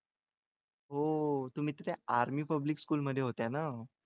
हो तुम्ही तर त्या army public school मध्ये होत्या ना?